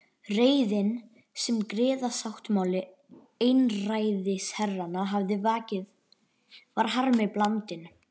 Reiðin, sem griðasáttmáli einræðisherranna hafði vakið, var harmi blandin.